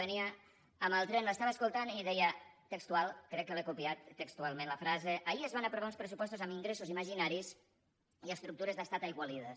venia amb el tren l’estava escoltant i deia textual crec que l’he copiat textualment la frase ahir es van aprovar uns pressupostos amb ingressos imaginaris i estructures d’estat aigualides